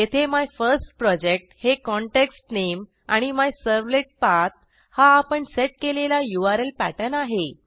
येथे मायफर्स्टप्रोजेक्ट हे context name आणि मायझर्वलेटपाठ हा आपण सेट केलेला यूआरएल पॅटर्न आहे